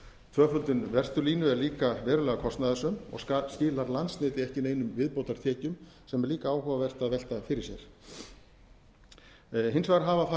tvöföldun vesturlínu er líka verulega kostnaðarsöm og skilar landsneti ekki neinum viðbótartekjum sem er líka áhugavert að velta fyrir sér hins vegar hafa farið